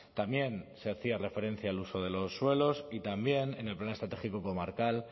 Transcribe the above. también se hacía referencia al uso de los suelos y también en el plan estratégico comarcal